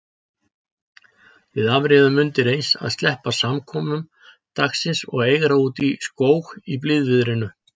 Við afréðum undireins að sleppa samkomum dagsins og eigra útí skóg í blíðviðrinu.